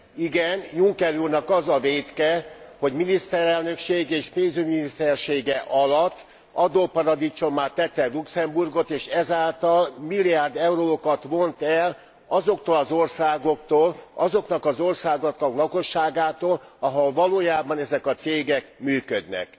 Igen, Juncker úrnak az a vétke, hogy miniszterelnöksége és pénzügyminisztersége alatt adóparadicsommá tette Luxemburgot, és ezáltal milliárd eurókat vont el azoktól az országoktól, azoknak az országoknak a lakosságától, ahol valójában ezek a cégek működnek.